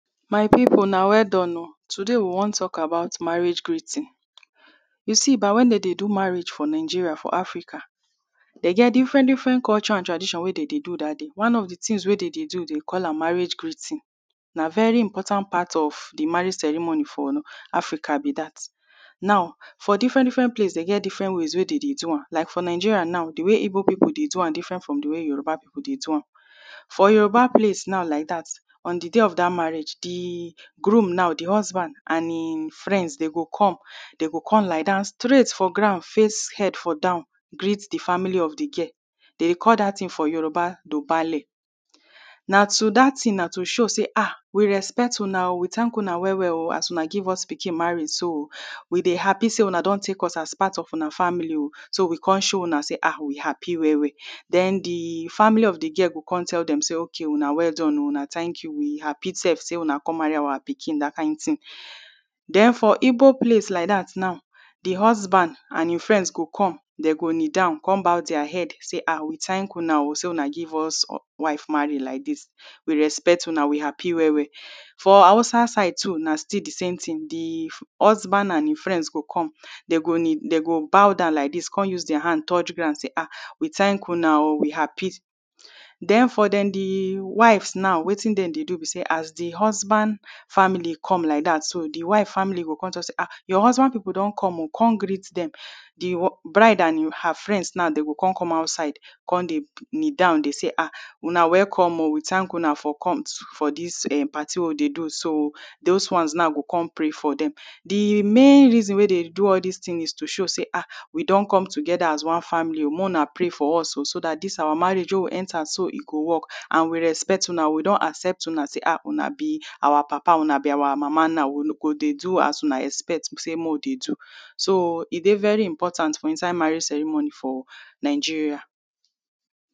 my people una welldone o today we wan talk about marriage greeting you see bah when them dey do marriage for Nigeria for Africa them get different different culture and tradition wey them dey do that day one of the things wey them dey do they call am marriage greeting nah very important part of the marriage ceremony for Africa be that now for different different place them get different ways wey dem dey do am like for Nigeria now the way Igbo people dey do am different from the way Yoruba people dey do am for Yoruba place now like that on the day of that marriage the groom now the husband and him friends them go come them go come lie down straight for ground face head for down greet the family of the girl them dey call that thing for Yoruba nah to that thing nah to show say ah we respect una o we thank una well well o as una give us pikin marry so o we dey happy say una don take us as part of una family o so we come show una say ah we happy well well then the family of the girl go come tell them say okay o una well done o una thank you we happy sef say una come marry our pikin that kind thing then for Igbo place like that now the husband and him friends go come them go kneel down come bow their heads say ah we thank una o say una give us wife marry like this we respect una we happy well well for Hausa side too nah still the same thing the husband and him friends go come them go kneel them go bow down like this come use their hand touch ground say ah we thank una o we happy then for them the wives' now wetin them dey do be say as the husband's family come like that so the wife family go come talk say ah your husband people don come o come greet them the bride and her friends now dem go come come outside come dey kneel down dey say ah una welcome o we thank una for coming for this um party wey we dey do so o those ones now go come pray for them the main reason wey them dey do all these things is to show sey ah we don come together as one family o make una pray for us o so that this our marriage wey we enter so e go work and we respect una we don accept una say ah una be our papa una be our mama now we no go dey do as una dey expect say make we dey do so e dey every important for inside marriage ceremony for Nigeria